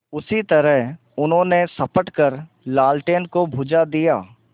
उसी तरह उन्होंने झपट कर लालटेन को बुझा दिया